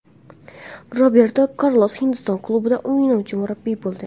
Roberto Karlos Hindiston klubida o‘ynovchi murabbiy bo‘ldi.